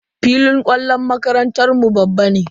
Filin kwallon makarantar mu babban ne.